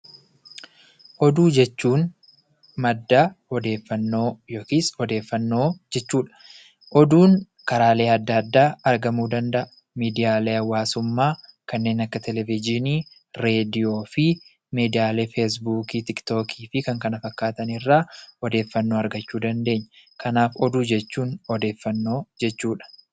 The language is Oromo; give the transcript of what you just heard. Oduu jechuun madda odeeffannoo yookiin odeeffannoo jechuu dha. Oduun karaalee adda addaa argamuu danda'a. Miidiyaalee hawaasummaa kanneen akka televizhiinii, reediyoo fi miidiyaalee feesbuukii, tiiktookii fi kan kana fakkaatan irraa odeeffaannoo argachuu dandeenya. Kanaaf, oduu jechuun odeeffannoo jechuu dha.